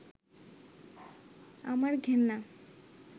আমার ঘেন্না